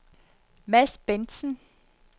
Mads Bendtsen